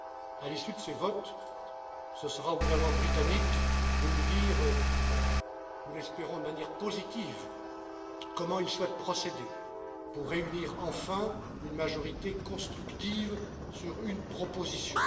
À l'issue de ces votes, ce sera au gouvernement britannique de nous dire je l'espère, de manière positive comment il souhaite procéder pour réunir enfin une majorité constructive sur une proposition.